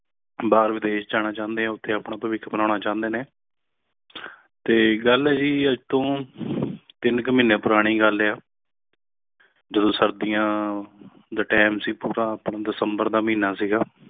ਬਾਲ ਵਿਦੇਸ਼ ਜਾਣਾ ਚਾਹੁੰਦੇ ਹੋ ਕੇ ਆਪਣਾ ਭਵਿੱਖ ਬਨਾਉਣਾ ਚਾਹੁੰਦੇ ਨੇ ਤੇ ਗੱਲ ਹੈ ਆਪਣੀ ਟੀਨ ਇਕ ਮਹੀਨੇ ਪੂਰਾਨੀ ਗੱਲ ਹੈ ਜਦੋਂ ਸਰਦੀਆਂ ਦਾ time ਸੀ ਆਪਣਾ december ਦਾ ਮਹੀਨਾ ਸੀ